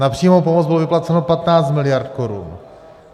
Na přímou pomoc bylo vyplaceno 15 miliard korun.